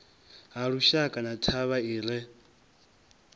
halushaka na thavha i re